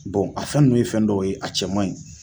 a fɛn ninnu ye fɛn dɔ ye a cɛ man ɲi